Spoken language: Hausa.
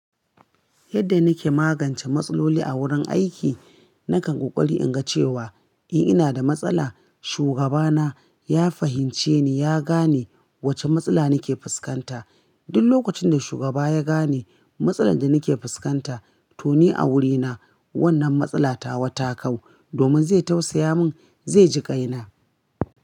Yadda nike magance matsaloli a wurin aiki, nakan ƙoƙari in ga cewa in ina da matsala, shugabana ya fahimce ni, ya gane wacce matsala nike fuskanta. Duk lokacin da shugaba ya gane matsalar da nike fuskanta, to ni a wurina wannan matsala tawa ta kau. Domin zai tausaya mun, zai ji ƙaina.